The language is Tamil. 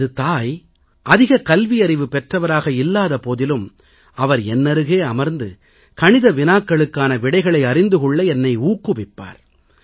எனது தாய் அதிக கல்வியறிவு பெற்றவராக இல்லாத போதிலும் அவர் என்னருகே அமர்ந்து கணித வினாக்களுக்கான விடைகளை அறிந்து கொள்ள என்னை ஊக்குவிப்பார்